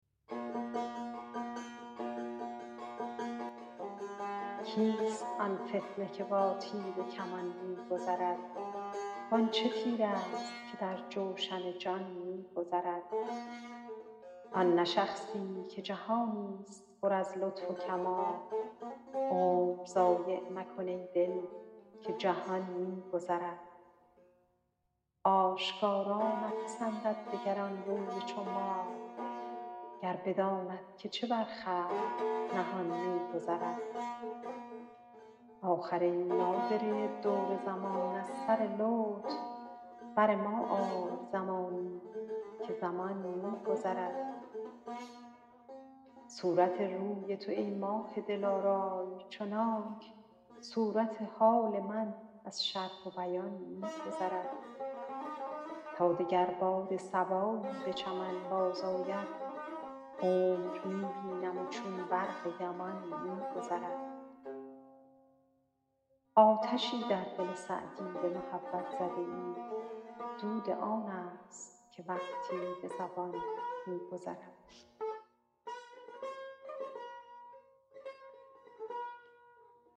کیست آن فتنه که با تیر و کمان می گذرد وان چه تیرست که در جوشن جان می گذرد آن نه شخصی که جهانی ست پر از لطف و کمال عمر ضایع مکن ای دل که جهان می گذرد آشکارا نپسندد دگر آن روی چو ماه گر بداند که چه بر خلق نهان می گذرد آخر ای نادره دور زمان از سر لطف بر ما آی زمانی که زمان می گذرد صورت روی تو ای ماه دلارای چنانک صورت حال من از شرح و بیان می گذرد تا دگر باد صبایی به چمن بازآید عمر می بینم و چون برق یمان می گذرد آتشی در دل سعدی به محبت زده ای دود آن ست که وقتی به زبان می گذرد